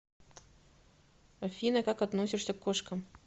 афина как относишься к кошкам